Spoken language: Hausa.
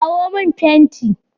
Kawo min fenti!